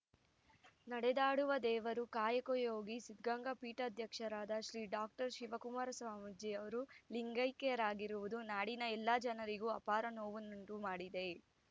ನಡೆದಾಡುವ ದೇವರು ಕಾಯಕಯೋಗಿ ಸಿದ್ಧಗಂಗಾ ಪೀಠಾಧ್ಯಕ್ಷರಾದ ಶ್ರೀ ಡಾಕ್ಟರ್ ಶಿವಕುಮಾರ ಸ್ವಾಮೀಜಿ ಅವರು ಲಿಂಗೈಕ್ಯರಾಗಿರುವುದು ನಾಡಿನ ಎಲ್ಲ ಜನರಿಗೂ ಆಪಾರ ನೋವನ್ನುಂಟು ಮಾಡಿದೆ